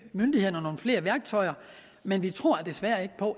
myndighederne nogle flere værktøjer men vi tror desværre ikke